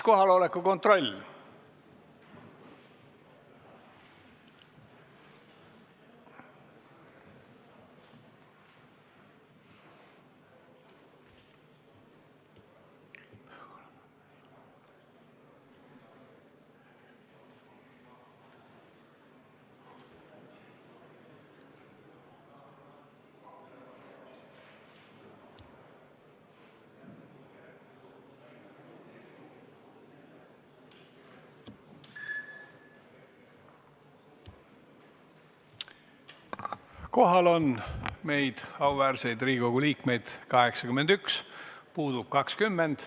Kohaloleku kontroll Kohal on meid, auväärseid Riigikogu liikmeid, 81, puudub 20.